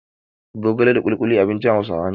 Zogala da ƙuluƙuli abincin Hausawa ne.